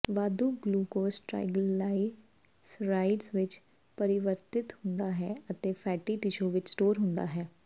ਵਾਧੂ glucose triglycerides ਵਿੱਚ ਪਰਿਵਰਤਿਤ ਹੁੰਦਾ ਹੈ ਅਤੇ ਫੈਟੀ ਟਿਸ਼ੂ ਵਿੱਚ ਸਟੋਰ ਹੁੰਦਾ ਹੈ